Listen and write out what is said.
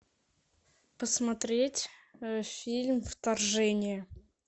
посмотреть фильм вторжение